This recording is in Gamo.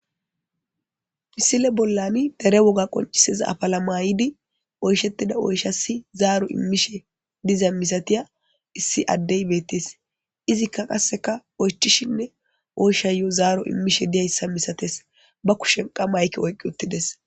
Misile bollani dere wolla qonccisida afala mayidi oyshetida oyshassi zaaro imishe diza misatiya issi adde beetees. Izikka qasekka oychishinne oyshayo zaaro immishe diyayssa misatees. Ba kushen qa mayke oyqqi utidees.